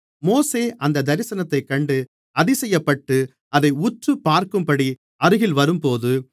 மோசே அந்தத் தரிசனத்தைக் கண்டு அதிசயப்பட்டு அதை உற்றுப்பார்க்கும்படி அருகில் வரும்போது